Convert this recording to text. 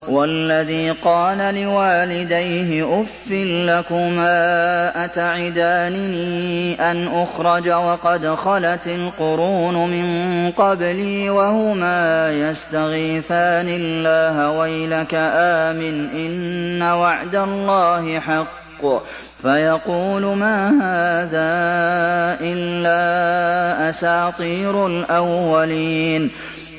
وَالَّذِي قَالَ لِوَالِدَيْهِ أُفٍّ لَّكُمَا أَتَعِدَانِنِي أَنْ أُخْرَجَ وَقَدْ خَلَتِ الْقُرُونُ مِن قَبْلِي وَهُمَا يَسْتَغِيثَانِ اللَّهَ وَيْلَكَ آمِنْ إِنَّ وَعْدَ اللَّهِ حَقٌّ فَيَقُولُ مَا هَٰذَا إِلَّا أَسَاطِيرُ الْأَوَّلِينَ